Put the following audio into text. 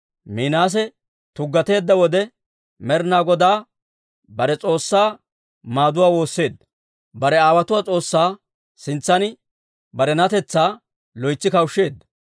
Minaase tuggateedda wode, Med'inaa Godaa bare S'oossaa maaduwaa woosseedda; bare aawotuwaa S'oossaa sintsan barenatetsaa loytsi kawushsheedda.